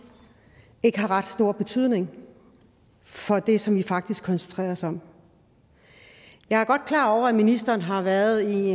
ikke har ret stor betydning for det som debatten faktisk koncentrerer sig om jeg er godt klar over at ministeren har været i